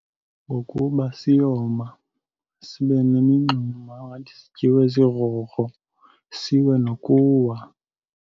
Ngokuba siyoma, sibe nemingxuma angathi sityiwe zigrogro, siwe nokuwa.